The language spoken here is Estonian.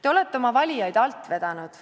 Te olete oma valijaid alt vedanud.